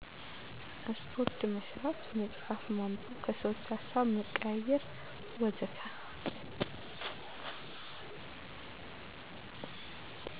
ስፓርት መስራት፣ መፅሃፍ ማንበብ፣ ከሰዎች ሀሳብ መቀያየር ወዘተ